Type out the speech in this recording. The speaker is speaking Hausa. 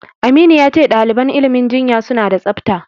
Aminu ya ce ɗaliban ilimin jinya suna da tsafta.